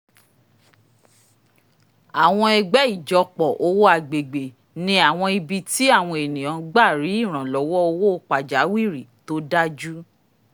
àwọn ẹgbẹ́ ìjọpọ̀ owó agbègbè ni àwọn ibi tí àwọn ènìyàn gbà rí ìrànlọ́wọ́ owó pajawìrì tó dájú